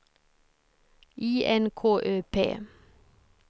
I N K Ö P